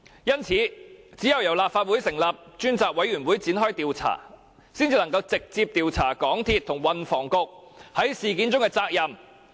因此，只有由立法會成立專責委員會展開調查，才能直接調查港鐵公司和運輸及房屋局在事件中的責任。